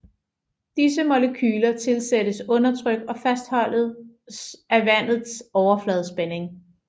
Disse molekyler tilsættes undertryk og fastholdes af vandets overfladespænding